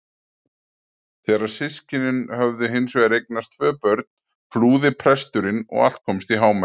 Þegar systkinin höfðu hins vegar eignast tvö börn flúði presturinn og allt komst í hámæli.